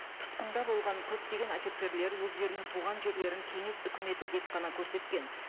тұтқында болған көптеген офицерлер өздерінің туған жерлерін кеңес үкіметі деп қана көрсеткен